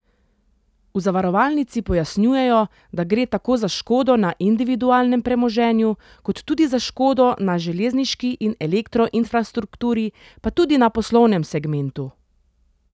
V zavarovalnici pojasnjujejo, da gre tako za škodo na individualnem premoženju, kot tudi za škodo na železniški in elektro infrastrukturi, pa tudi na poslovnem segmentu.